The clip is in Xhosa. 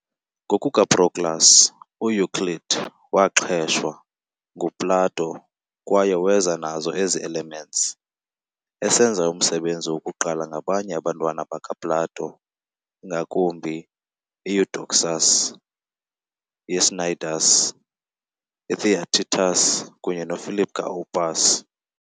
NgokukaProclus, uEuclid "waaxheshwa" nguPlato kwaye weza nazo ezi"Elements", esenza umsebenzi wokuqala ngabanye abantwana bakaPlato, ingakumbi iEudoxus yeCnidus, iTheaetetus kunye noPhilip kaOpus.